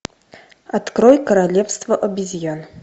открой королевство обезьян